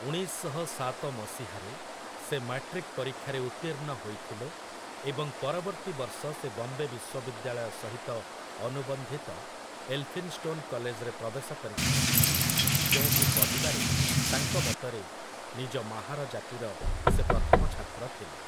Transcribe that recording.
ଉଣେଇଶ ଶହ ସାତ ମସିହାରେ ସେ ମାଟ୍ରିକ ପରୀକ୍ଷାରେ ଉତ୍ତୀର୍ଣ୍ଣ ହୋଇଥିଲେ ଏବଂ ପରବର୍ତ୍ତୀ ବର୍ଷ ସେ ବମ୍ବେ ବିଶ୍ୱବିଦ୍ୟାଳୟ ସହିତ ଅନୁବନ୍ଧିତ ଏଲ୍‌ଫିନ୍‌ଷ୍ଟୋନ୍‌ କଲେଜରେ ପ୍ରବେଶ କରିଥିଲେ, ଯେଉଁଠି ପଢ଼ିବାରେ, ତାଙ୍କ ମତରେ, ନିଜ ମାହାର ଜାତିର ସେ ପ୍ରଥମ ଛାତ୍ର ଥିଲେ ।